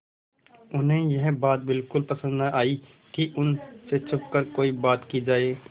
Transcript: उन्हें यह बात बिल्कुल पसन्द न आई कि उन से छुपकर कोई बात की जाए